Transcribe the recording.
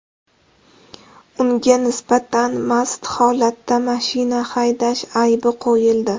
Unga nisbatan mast holatda mashina haydash aybi qo‘yildi.